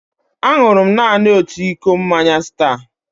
Aṅụrụ m naanị otu iko mmanya Star.